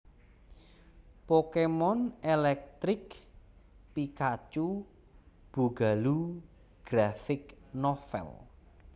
Pokémon Electric Pikachu Boogaloo Graphic Novel